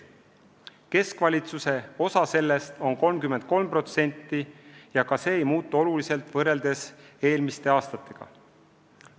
Keskvalitsuse osa sellest on 33% ja ka see ei muutu oluliselt võrreldes eelmiste aastatega.